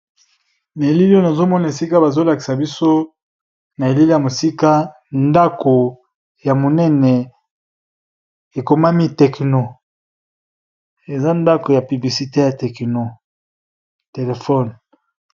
Elili nazomona esika bazolakisa biso na elele ya mosika ndako ya monene ekomami tekino eza ndako ya publicite ya téléphone.